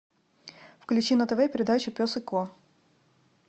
включи на тв передачу пес и ко